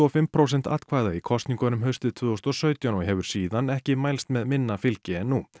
fimm prósent atkvæða í kosningum haustið tvö þúsund og sautján og hefur síðan ekki mælst með minna fylgi en nú